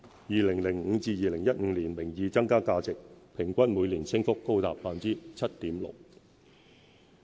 2005年至2015年，名義增加價值平均每年升幅高達 7.6%。